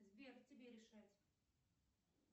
сбер тебе решать